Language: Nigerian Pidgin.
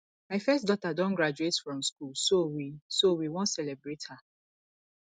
my first daughter don graduate from school so we so we wan celebrate her